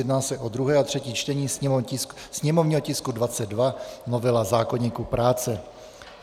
Jedná se o druhé a třetí čtení, sněmovního tisku 22 - novela zákoníku práce.